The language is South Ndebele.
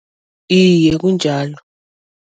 Iye, kunjalo.